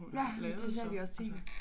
Ja men det siger vi også til hende